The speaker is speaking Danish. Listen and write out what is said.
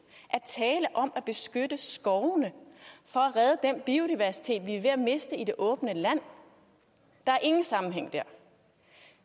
at tale om at beskytte skovene for at redde den biodiversitet vi er ved at miste i det åbne land der er ingen sammenhæng dér